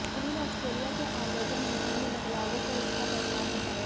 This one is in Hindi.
उन्होंने आस्ट्रेलिया की आव्रजन नीति में बदलावों को इसका परिणाम बताया